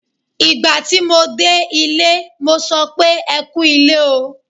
Ìgbà tí mo dé ilé, mo sọ pé "ẹ kú ilé o".